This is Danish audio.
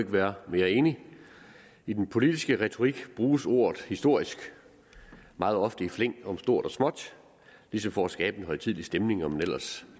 være mere enig i den politiske retorik bruges ordet historisk meget ofte i flæng om stort og småt ligesom for at skabe en højtidelig stemning om en ellers